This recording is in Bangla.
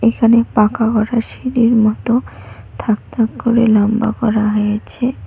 এখানে পাকা গড়া সিঁড়ির মতো থাক থাক করে লম্বা করা হয়েছে।